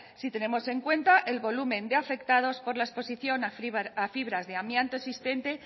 si tenemos en cuenta el volumen de afectados por la exposición a fibras de amianto existente